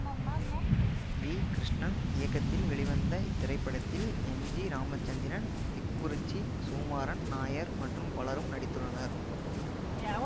we Krishnan இயக்கத்தில் வெளிவந்த இத்திரைப்படத்தில் எம் ஜி ராமச்சந்திரன் திக்குறிச்சி சுகுமாறன் நாயர் மற்றும் பலரும் நடித்துள்ளனர்